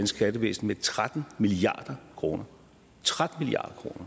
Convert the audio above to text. skattevæsen med tretten milliard kroner tretten milliard